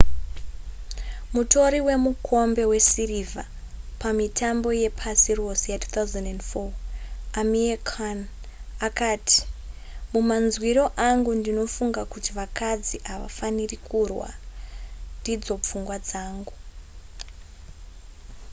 mutori wemukombe wesirivha pamitambo yepasi rose ya2004 amir khan akati mumanzwiro angu ndinofunga kuti vakadzi havafaniri kurwa ndidzo pfungwa dzangu